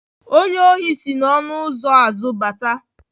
Onye ohi si n'ọnụ ụzọ azụ bata.